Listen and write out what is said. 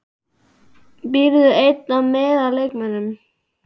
Býrðu ein eða með leikmönnum?